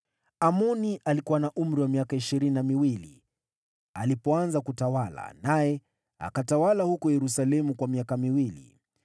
Amoni alikuwa na miaka ishirini na miwili, alipoanza kutawala, naye akatawala huko Yerusalemu kwa miaka miwili.